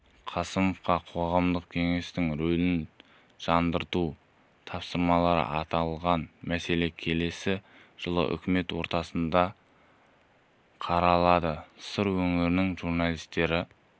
қасымовқа қоғамдық кеңесінің рөлін жандандыру тапсырылды аталған мәселе келесі жылы үкімет отырысында қаралады сыр өңірінің журналистері